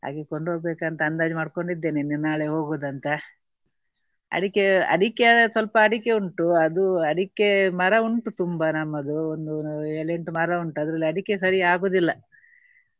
ಹಾಗೆ ಕೊಂಡು ಹೋಗ್ಬೇಕಂತ ಅಂದಾಜು ಮಾಡ್ಕೊಂಡು ಇದ್ದೇನೆ. ಇನ್ನು ನಾಳೆ ಹೋಗುವುದು ಅಂತ. ಅಡಿಕೆ ಅಡಿಕೆಯಾದ್ರೆ ಸ್ವಲ್ಪ ಅಡಿಕೆ ಉಂಟು. ಅದು ಅಡಿಕೆ ಮರ ಉಂಟು ತುಂಬಾ ನಮ್ಮದು ಒಂದು ಏಳು ಎಂಟು ಮರ ಉಂಟು ಅದ್ರಲ್ಲಿ ಅಡಿಕೆ ಸರಿ ಆಗುವುದಿಲ್ಲ.